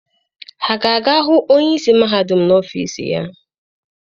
Ha ga-aga hụ onye isi mahadum n'ọfiisi ya?